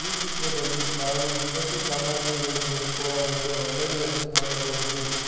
ಚಿತ್ರದಲ್ಲಿ ನಾವು ದಿನಸಿ ಸಾಮಗ್ರಿಗಳು ದೊರಕುವ ಒಂದು ಅಂಗಡಿಯನ್ನು ನೋಡಬಹುದು.